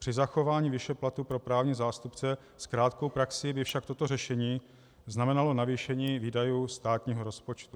Při zachování výše platu pro právní zástupce s krátkou praxí by však toto řešení znamenalo navýšení výdajů státního rozpočtu.